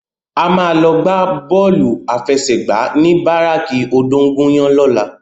A má lò gbá bòlú áfèsègbá ni báráki ódóngúyàn lòlá